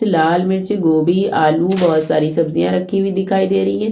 फिलाल मिर्चीगोभीआलु बहुत सारी सब्जीया रखी हुई दीखाई दे रही है।